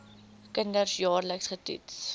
kinders jaarliks getoets